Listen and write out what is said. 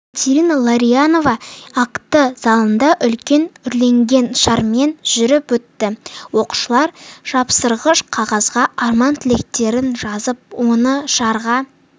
екатерина ларионова акті залында үлкен үрленген шармен жүріп өтті оқушылар жапсырғыш қағазға арман-тілектерін жазып оны шарға